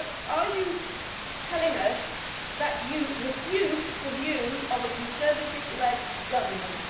So are you telling us that you refute the view of a Conservative led government?